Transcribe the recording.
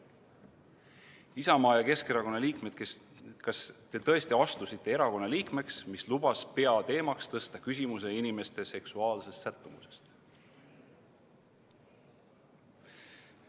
Isamaa ja Keskerakonna liikmed, kas te tõesti astusite selle erakonna liikmeks, mis lubas peateemaks tõsta inimeste seksuaalse sättumuse küsimuse?